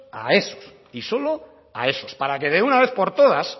a esos y solo a esos para que de una vez por todas